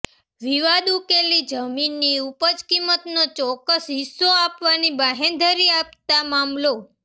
વિવાદ ઉકેલી જમીનની ઉપજ કિંમતનો ચૌક્કસ હિસ્સો આપવાની બાંહેધરી આપતા મામલો